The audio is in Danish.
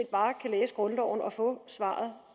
bare kan læse grundloven og få svaret